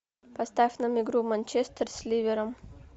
поставь нам игру манчестер с ливером